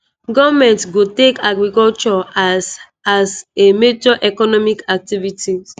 goment go take agriculture as as a major economic activity."